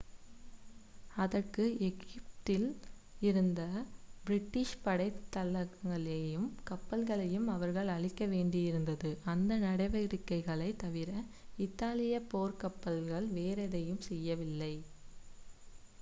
அதற்கு எகிப்தில் இருந்த பிரிட்டிஷ் படைத் தளங்களையும் கப்பல்களையும் அவர்கள் அழிக்க வேண்டியிருந்தது அந்த நடவடிக்கைகளைத் தவிர இத்தாலிய போர்க்கப்பல்கள் வேறெதையும் செய்ய தேவையில்லை